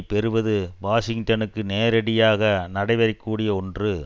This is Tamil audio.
பெறுவது வாஷிங்டனுக்கு நேரடியாக நடைபெறக் கூடிய ஒன்று